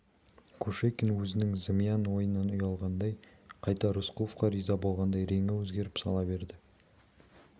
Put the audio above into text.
кушекин өзінің зымиян ойынан ұялғандай қайта рысқұловқа риза болғандай реңі өзгеріп сала берді